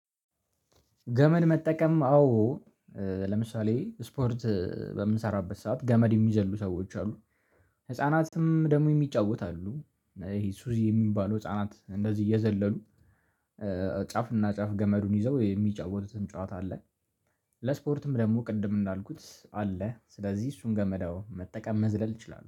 ገመድ መጠቀም አዎ ለምሳሌ ስፖርት በምንሰራበት ሰዓት ገመድ የሚዘሉ ሰዎች አሉ ህፃናትም ደግሞ የሚጫወት አሉ። ይሄ ሱዚ የሚባለው ህፃናት እንደዚህ እየዘለሉ ጫፍና ጫፍ ገመዱን ይዘው የሚጫወቱትም ጨዋታ አለ። ለስፖርትም ደግሞ ቅድም እንዳልኩት አለ ስለዚህ እሱን ገመር አዎ መጠቀም መዝለል እችላለው